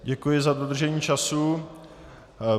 Děkuji za dodržení času.